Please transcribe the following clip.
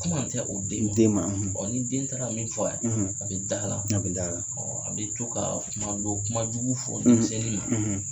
Kuma tɛ u den ma u den ma ɔ ni den taara min fɔ a ye a bɛ d'ala a bɛ d'ala ɔ a bɛ to ka kuma dɔw kumajugu fɔ denmisɛnnin ma